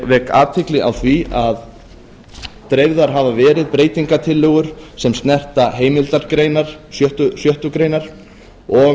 vek athygli á því að dreift hefur verið breytingartillögum sem snerta heimildargreinar sjöttu greinar og